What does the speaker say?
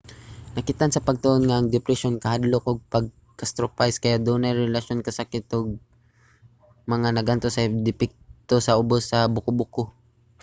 nakit-an sa pagtuon nga ang depresyon kahadlok ug ang pag-catastrophize kay adunay relasyon sa kasakit ug mga nag-antos og depekto sa ubos sa buko-buko